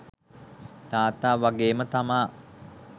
තාත්තා වගේම තමා.